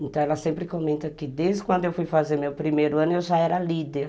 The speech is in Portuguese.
Então ela sempre comenta que desde quando eu fui fazer meu primeiro ano eu já era líder.